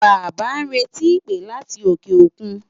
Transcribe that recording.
Bàbá ń retí ìpè láti òkè òkun.